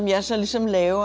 er rosa líkamleg og